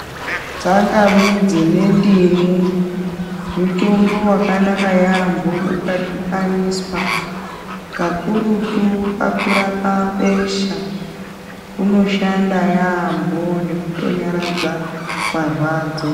Tsangamidzi nendimu mutombo wakanaka yambho ukadhibaniswa kakurutu pakurapa besha unoshanda yambo nekuto nyaradza marwadzo.